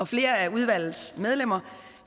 flere af udvalgets medlemmer